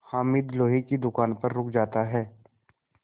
हामिद लोहे की दुकान पर रुक जाता है